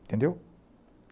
Entendeu?